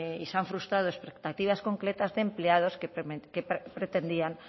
y se han frustrado expectativos concretas de empleados que pretendían